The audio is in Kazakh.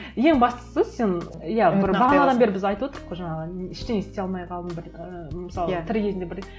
ең бастысы сен иә бір бағанадан бері біз айтып отырқ қой жаңағы ештеңе істей алмай қалдым бір і мысалы тірі кезінде